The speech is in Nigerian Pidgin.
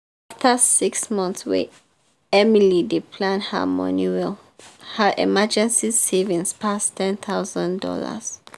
after six months wey emily dey plan her money well her emergency savings pass ten tohousand dollars.